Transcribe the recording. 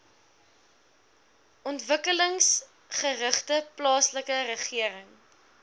ontwikkelingsgerigte plaaslike regering